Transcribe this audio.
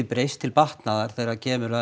breyst til batnaðar þegar kemur að